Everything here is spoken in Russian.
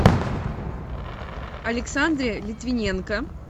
александре литвиненко